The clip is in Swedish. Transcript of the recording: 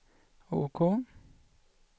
OK